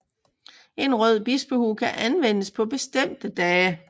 En rød bispehue kan anvendes på bestemte dage